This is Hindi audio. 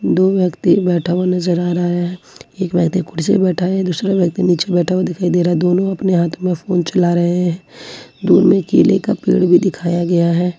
दो व्यक्ति बैठा हुआ नजर आ रहा है एक व्यक्ति कुर्सी पे बैठा है दूसरा व्यक्ति नीचे बैठा हुआ दिखाई दे रहा है दोनों अपने हाथ में फोन चला रहे हैं दूर में केले का पेड़ भी दिखाया गया है।